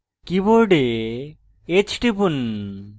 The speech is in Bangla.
keyboard h টিপুন